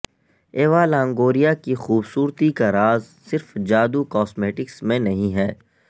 Eva Longoria کی خوبصورتی کا راز صرف جادو کاسمیٹکس میں نہیں ہے